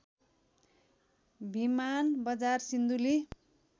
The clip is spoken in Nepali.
भिमान बजार सिन्धुली